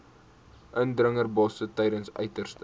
indringerbosse tydens uiterste